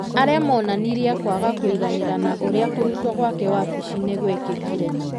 arĩa monanirie kwaga kũiganĩra na ũrĩa kũrutwo gwake wabici-inĩ gwĩkĩkire.